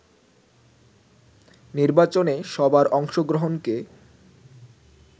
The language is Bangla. নির্বাচনে সবার অংশগ্রহণকে